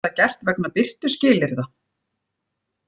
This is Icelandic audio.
Er þetta gert vegna birtuskilyrða